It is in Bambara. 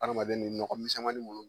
Adamaden ni nɔgɔ misɛnmanin bolo